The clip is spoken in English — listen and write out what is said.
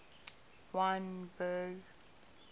wynberg